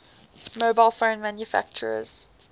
mobile phone manufacturers